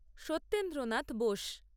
Satyendranath Bose